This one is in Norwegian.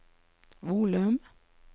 volum